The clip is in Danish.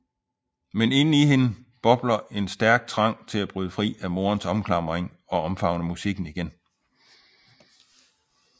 Men inden i hende bobler en stærk trang til at bryde fri af morens omklamring og omfavne musikken igen